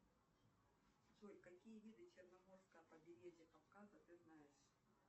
джой какие виды черноморского побережья кавказа ты знаешь